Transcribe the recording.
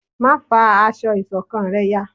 má fá aṣọ ìṣọ̀kan rẹ yá!